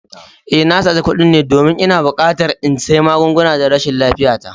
Eh, na sace kuɗin ne domin ina buƙatar in sayi magunguna don rashin lafiyata